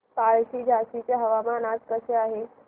पळशी झाशीचे हवामान आज कसे आहे